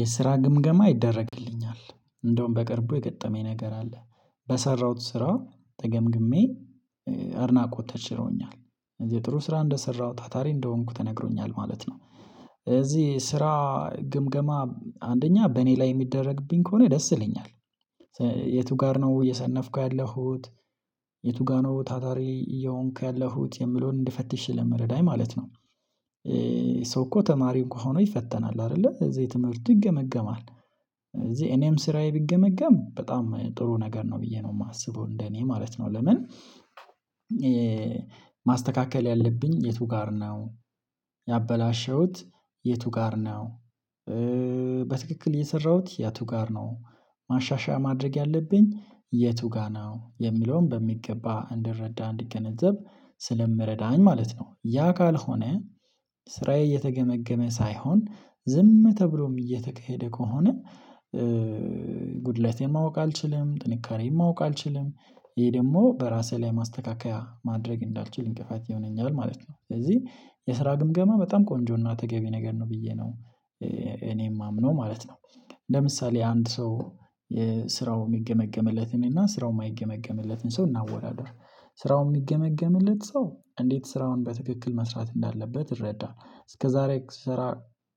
የስራ ግምገማ ይደረግልኛል እንደውም በቅርቡ የገጠመኝ ነገር አለ በሰራሁት ስራ ተገምግሜ አድናቆት ተችሮኛል እዚህ ጥሩ ስራ እንደሰራሁ ታታሪ እንደሆንኩ ተነግሮኛል ማለት ነው። እዚህ ስራ ግምገማ አንደኛ በእኔ ላይ የሚደረግብኝ ከሆነ ደስ ይለኛል። የቱ ጋር ነው እየሰነፍኩ ያለሁት የቱ ጋር ነው ታታሪ እየሆንኩ ያለሁት የምለውን እንድፈትሽ ስለሚረዳኝ ማለት ነው። ሰው እኮ ተማሪ እንኳ ሆኖ ይፈተናል አይደለ እዚህ ትምህርት ይገመገማል። እዚህ እኔም ስራዬ ቢገመገም በጣም ጥሩ ነገር ነው ብዬ ነው የማስበው እንደኔ ማለት ነው። ለምን ማስተካከል ያለብኝ የቱ ጋር ነው? ያበላሸሁት የቱ ጋር ነው? በትክክል የሰራሁት ያ ቱ ጋር ነው ማሻሻያ ማድረግ ያለብኝ የቱ ጋር ነው የሚለውን በሚገባ እንድረዳ እንድገነዘብ ስለሚረዳኝ ማለት ነው። ያ ካልሆነ ስራዬ እየተገመገመ ሳይሆን ዝም ተብሎም እየተካሄደ ከሆነ። ጉድለቴን ማወቅ አልችልም ጥንካሬን ማወቅ አልችልም ይሄ ደግሞ በራሴ ላይ ማስተካከያ ማድረግ እንዳልችል እንቅፋት ይሆነኛል ማለት ነው። ስለዚህ የስራ ግምገማ በጣም ቆንጆና ተገቢ ነገር ነው ብዬ ነው እኔም የማምነው ማለት ነው። ለምሳሌ አንድ ሰው ስራው የሚገመገምለት እኔና እና ስራው የማይገመግምለትን ሰው እናወዳድረው ስራው የሚገመግምለት ሰው እንዴት ስራውን በትክክል መስራት እንዳለበት ይረዳ እስከዛሬ ስራ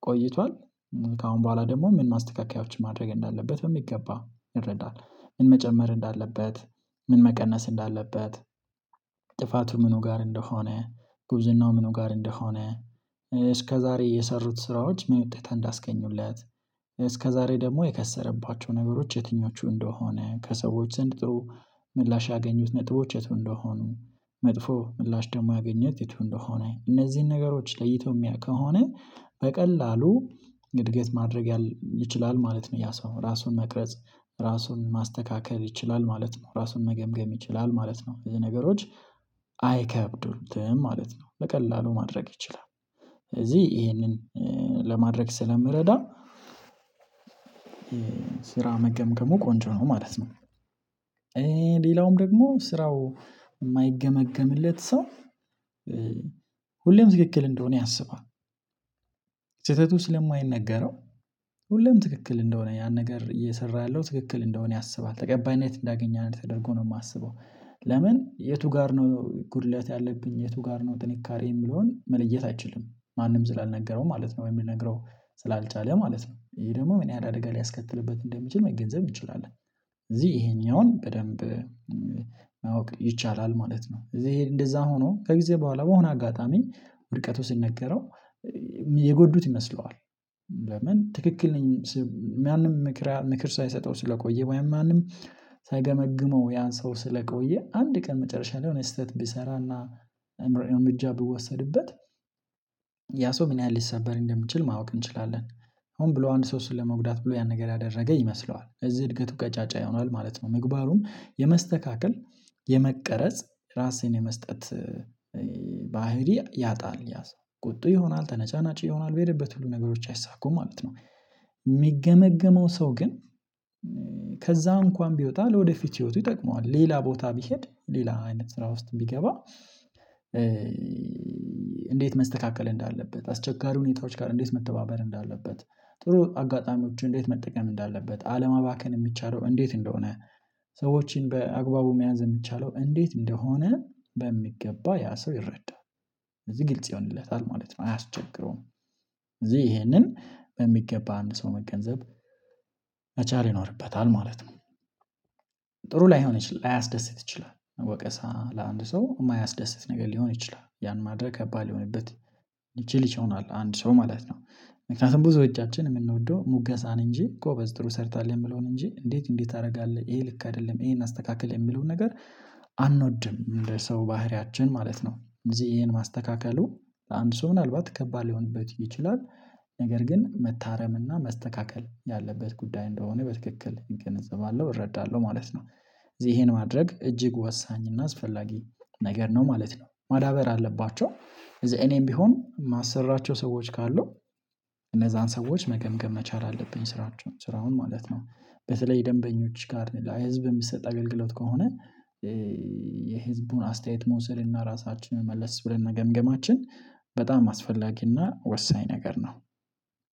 ቆይቷል ከአሁን በኋላ ደግሞ ምን ማስተካከያዎች ማድረግ እንዳለበት በሚገባ ይረዳል። ምን መጨመር እንዳለበት ምን መቀነስ እንዳለበት? ጥፋቱ ምኑ ጋር እንደሆነ ጉብዝናው ምኑ ጋር እንደሆነ? እስከዛሬ የሰሩት ስራዎች ምን ውጤት እንዳስገኙለት እስከዛሬ ደግሞ የከሰረባቸው ነገሮች የትኞቹ እንደሆነ ከሰዎች ዘንድ ጥሩ ምላሽ ያገኙት ነጥቦች የትው እንደሆኑ? መጥፎ ምላሽ ደግሞ ያገኘት የትው እንደሆነኝ እነዚህን ነገሮች ለይተው የሚያውቅ ከሆነ በቀላሉ እድገት ማድረግ ይችላል ማለት ነው። ያ ሰው ነው ራሱን መቅረጽ ራሱን ማስተካከል ይችላል ማለት ነው ራሱን መገምገም ይችላል ማለት ነው። እዚህ ነገሮች አይከብዱትም ማለት ነው ለቀላሉ ማድረግ ይችላል። ስለዚህ ይሄንን ለማድረግ ስለሚረዳ ስራ መገምገም ቆንጆ ነው ማለት ነው። ሌላውም ደግሞ ስራው የማይገመገምለት ሰው ሁሌም ተክክል እንደሆነ ያሰባል። ስለማይነገረው ሁሉም ትክክል እንደሆነ ያን ነገር እየሰራ ያለው ትክክል እንደሆነ ያሰባል ተቀባይነት እንዳገኘህ አድርጎ ነው የሚያስበው ለምን የቱ ጋር ነው ጉድለት ያለብኝ የቱ ጋር ነው ጥንካሬ የሚለውን መለየት አይችልም ማንም ስላልነገረው ማለት ነው። የሚነግረው ስላልቻለ ማለት ነው። ይሄ ደግሞ ምን ያህል አደጋ ሊያስከትልበት እንደሚችል መገንዘብ እንችላለን እዚህ ይሄኛውን በደንብ ማወቅ ይቻላል ማለት ነው። እዚህ እንደዛ ሆኖ ከጊዜ በኋላ በሆነ አጋጣሚ ውድቀቱ ሲነገረው የጎዱት ይመስለዋል። ለምን ትክክል ነኝ ማንም ምክር ምክር ሳይሰጠው ስለቆየ ወይም ማንም ሰገመግመው ያን ሰው ስለቆየ አንድ ቀን መጨረሻ ላይ ሆነህ ስህተት ቢሰራና እምር እምጃ ቢወሰድበት ያ ሰው ምን ያህል ሊሰበር እንደምችል ማወቅ እንችላለን። አሁን ብሎ አንድ ሰው ስል ለመጉዳት ብሎ ያን ነገር ያደረገ ይመስለዋል እዚህ እድገቱ ቀጫጫ ይሆናል ማለት ነው። ምግባሩም የመስተካከል የመቀረጽ ራሴን የመስጠት ባህሪ ያጣል ያሰው ቁጡ ይሆናል ተነጫናጪ ይሆናል በሄደበት ሁሉ ነገሮች አይሳኩም ማለት ነው። የሚገመገመው ሰው ግን ከዛ እንኳን ቢወጣ ለወደፊት ህይወቱ ይጠቅመዋል ሌላ ቦታ ቢሄድ ሌላ አይነት ስራ ውስጥ ቢገባ። እንዴት መስተካከል እንዳለበት አስቸጋሪ ሁኔታዎች ጋር እንዴት መተባበር እንዳለበት ጥሩ አጋጣሚዎች እንዴት መጠቀም እንዳለበት አለማባከን የሚቻለው እንዴት እንደሆነ ሰዎችን በአግባቡ መያዝ የሚቻለው እንዴት እንደሆነ በሚገባ ያ ሰው ይረዳል እዚህ ግልጽ ይሆንለታል ማለት ነው። አያስቸግረውም እዚህ ይሄንን በሚገባ አንድ ሰው መገንዘብ መቻል ይኖርበታል ማለት ነው። ጥሩ ላይሆን ይችላል ላያስደስት ይችላል ወቀሳ ለአንድ ሰው የማያስደስት ነገር ሊሆን ይችላል ያን ማድረግ ከባድ ሊሆንበት ይቺል ይሆናለሁ አንድ ሰው ማለት ነው። ምክንያቱም ብዙዎቻችን የምንወደው ሙገሳን እንጂ ጎበዝ ጥሩ ሰርታለሁ የምለውን እንጂ እንዴት እንዴት ታደርጋለህ ይሄ ልክ አይደለም ይሄን አስተካክል የሚለውን ነገር አንወድም ለሰው ባህሪያችን ማለት ነው። እዚህ ይሄን ማስተካከሉ አንድ ሰው ምናልባት ከባድ ሊሆንበት ይችላል ነገር ግን መታረም እና መስተካከል ያለበት ጉዳይ እንደሆነ በትክክል እገነዘባለሁ እረዳለሁ ማለት ነው። እዚህ ይሄን ማድረግ እጅግ ወሳኝ እና አስፈላጊ ነገር ነው ማለት ነው። ማዳበር አለባቸው እዚህ እኔም ቢሆን ማሰራቸው ሰዎች ካሉ እነዛን ሰዎች መገምገም መቻል አለብኝ ስራቸውን ስራውን ማለት ነው። በተለይ ደንበኞች ጋር ነው ህዝብ የሚሰጥ አገልግሎት ከሆነ የህዝቡን አስተያየት መውሰድ እና ራሳችንን መለስ ብለን መገምገማችን በጣም አስፈላጊና ወሳኝ ነገር ነው።